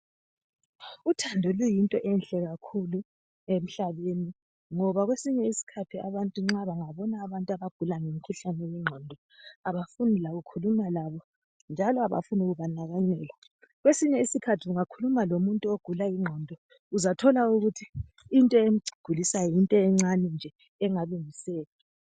Uthando luyinto enhle kakhulu emhlaneni ngoba kwesinye isikhathi abantu nxa bengabona abantu abagula ngomkhuhlane wengqondo abafuni lokukhuluma labo njalo abafuni kubandakana labo kwesinye isikhathi ungakhuluma lomuntu ogula ingqondo uzathola ukuthi into emgulisayo yinto encane nje engalungiseka